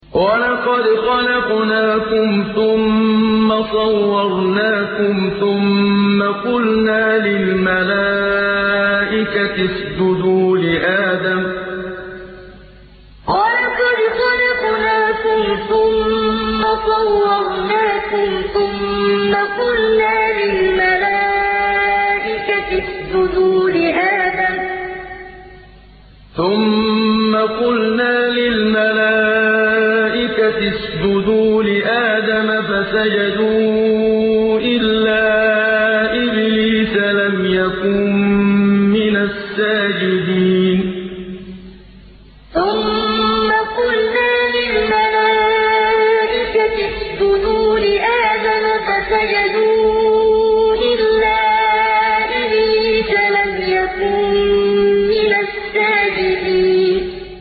وَلَقَدْ خَلَقْنَاكُمْ ثُمَّ صَوَّرْنَاكُمْ ثُمَّ قُلْنَا لِلْمَلَائِكَةِ اسْجُدُوا لِآدَمَ فَسَجَدُوا إِلَّا إِبْلِيسَ لَمْ يَكُن مِّنَ السَّاجِدِينَ وَلَقَدْ خَلَقْنَاكُمْ ثُمَّ صَوَّرْنَاكُمْ ثُمَّ قُلْنَا لِلْمَلَائِكَةِ اسْجُدُوا لِآدَمَ فَسَجَدُوا إِلَّا إِبْلِيسَ لَمْ يَكُن مِّنَ السَّاجِدِينَ